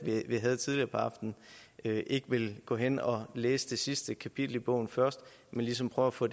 vi havde tidligere på aftenen ikke vil gå hen og læse det sidste kapitel i bogen først men ligesom prøve at få